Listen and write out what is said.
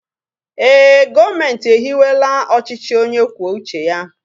ee, gọọmenti ehiwela ọchịchị onye kwuo uche ya